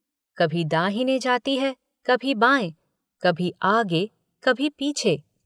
कभी दाहिने जाती है कभी बायें कभी आगे कभी पीछे।